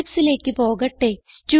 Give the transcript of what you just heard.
Eclipseലേക്ക് പോകട്ടെ